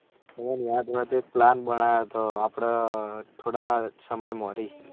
તમને યાદ હોય તો plan બન્યો હતો આપળે થોડા સમય મોળી